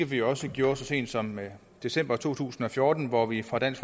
vi også gjorde så sent som december to tusind og fjorten hvor vi fra dansk